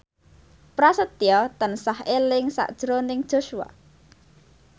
Prasetyo tansah eling sakjroning Joshua